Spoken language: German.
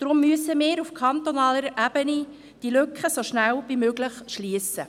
Deshalb müssen wir diese Lücke auf kantonaler Ebene so schnell wie möglich schliessen.